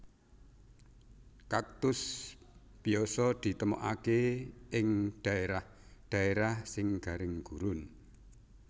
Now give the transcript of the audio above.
Kaktus biasa ditemokaké ing dhaérah dhaérah sing garing gurun